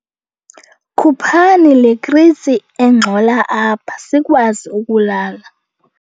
Khuphani le kritsi engxola apha sikwazi ukulala.